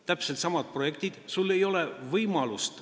Täpselt samad projektid ja sul ei ole enam võimalust.